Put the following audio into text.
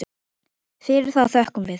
Fyrir það þökkum við.